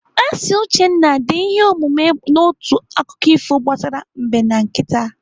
Asị Uchenna dee ihe omume n'otu akụkọ ifo gbasara Mbe na nkịta.